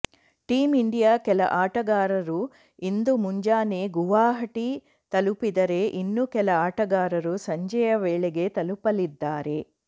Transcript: team India ಕೆಲ ಆಟಗಾರರು ಇಂದು ಮುಂಜಾನೆ ಗುವಾಹಟಿ ತಲುಪಿದರೆ ಇನ್ನೂ ಕೆಲ ಆಟಗಾರರು ಸಂಜೆಯ ವೇಳೆಗೆ ತಲುಪಲಿದ್ದಾರೆ